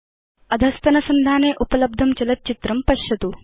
httpspoken tutorialorgWhat is a Spoken Tutorial इत्यत्र उपलब्धं चलत् चित्रं पश्यतु